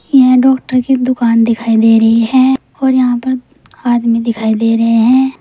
यह डॉक्टर की दुकान दिखाई दे रही है और यहां पर आदमी दिखाई दे रहे हैं।